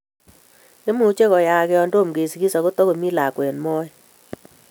Imuche koyaak yon tom keisgis ago tagomi lakwet moet